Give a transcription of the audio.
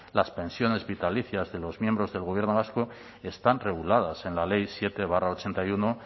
las pensiones vitalicias de los miembros del gobierno vasco están reguladas en la ley siete barra ochenta y uno